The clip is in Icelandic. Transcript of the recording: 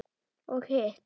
Og hitt?